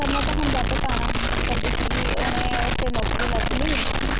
ਨੇ ਤਾਂ ਹੁਣ ਵਾਪਸ ਕਰਦੀ ਸੀਗੀ ਉਹਨੇ ਉੱਥੇ ਨੌਕਰੀ ਲੱਭ ਲਈ